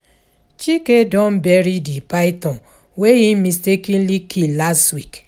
Chike don bury the python wey he mistakenly kill last week